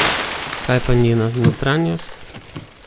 Kaj pa njena notranjost?